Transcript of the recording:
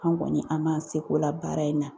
An kɔni an m'an sekola baara in na.